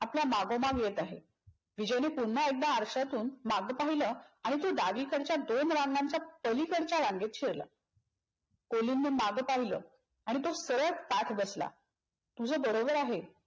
आपल्या मागोमाग येत आहे. विजयने पुन एकदा आरशातून मागे पाहिल आणि तो डावीकडच्या दोन रांगांच्या पलीकडच्या रांगेत शिरला. कोलिनन मागे पाहिल आणि तो सरळ ताठ बसला. तुझ बरोबर आहे